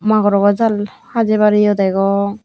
magorogor jall hajabar eio dagong.